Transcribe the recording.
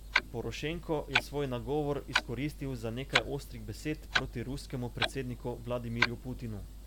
Porošenko je svoj nagovor izkoristil za nekaj ostrih besed proti ruskemu predsedniku Vladimirju Putinu.